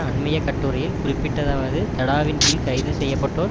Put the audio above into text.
அண்மைய கட்டுரையில் குறிப்பிட்டதாவது தடாவின் கீழ் கைது செய்ய பட்டோர்